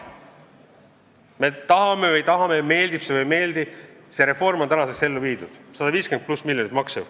Kas me tahame või ei taha, meeldib see meile või ei meeldi, see reform on ellu viidud ja see maksab 150+ miljonit.